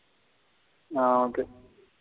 ஆ okay.